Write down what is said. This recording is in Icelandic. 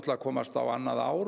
að komast á annað ár